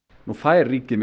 nú fær ríkið